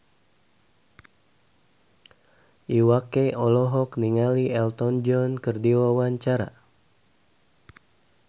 Iwa K olohok ningali Elton John keur diwawancara